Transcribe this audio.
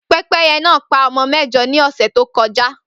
Pẹ́pẹ́yẹ náà pa ọmọ mẹ́jọ ní ọ̀sẹ̀ tó kọja